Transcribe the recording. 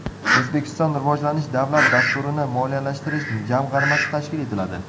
O‘zbekistonda Rivojlanish davlat dasturlarini moliyalashtirish jamg‘armasi tashkil etiladi.